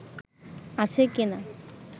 আছে কি-না